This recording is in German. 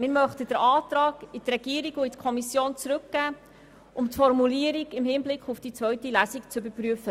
Wir möchten den Antrag an die Regierung und in die Kommission zurückgeben, damit sie die Formulierung im Hinblick auf die zweite Lesung überprüfen.